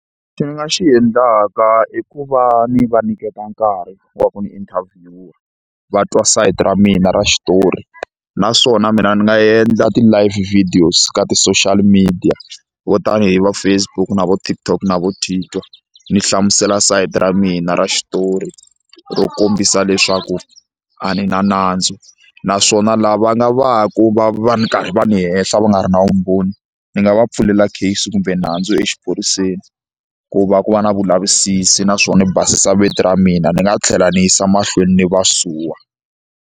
Lexi ni nga xi endlaka i ku va ni va nyiketa nkarhi wa ku ni interview va twa sayiti ra mina ra xitori naswona mina ni nga endla ti-live videos ka ti-social media vo tani hi va Facebook na vo TikTok na vo Tweeter ni hlamusela sayite ra mina ra xitori ro kombisa leswaku a ni na nandzu naswona lava nga va ku va va karhi va ni henhla va nga ri na vumbhoni ni nga va pfulela case kumbe nandzu exiphoriseni ku va ku va na vulavisisi naswona ni basisa vito ra mina ni nga tlhela ni yisa mahlweni ni va suwa.